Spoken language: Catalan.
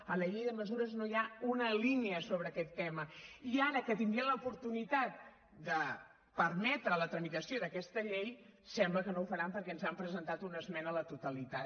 en la llei de mesures no hi ha una línia sobre aquest tema i ara que tindrien l’oportunitat de permetre la tramitació d’aquesta llei sembla que no ho faran perquè ens han presentat una esmena a la totalitat